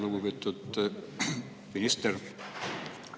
Lugupeetud minister!